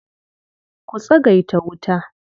Ku tsagaita wuta.